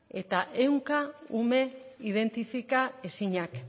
eta ehunka ume identifika ezinak